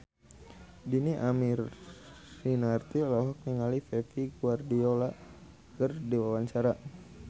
Dhini Aminarti olohok ningali Pep Guardiola keur diwawancara